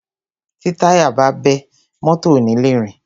Tí táyà bá bẹ́, mọ́tọ̀ ò ni le rìn.